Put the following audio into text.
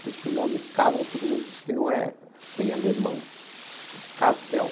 Depois que o nome Caval, todo mundo disse que não é bem alemão, que é Cavél.